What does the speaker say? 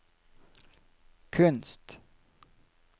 kunst